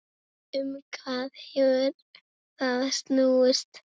Um hvað hefur það snúist?